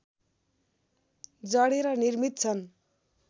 जडेर निर्मित छन्